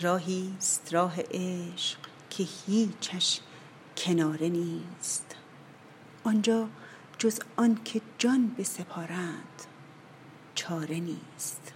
راهی ست راه عشق که هیچش کناره نیست آن جا جز آن که جان بسپارند چاره نیست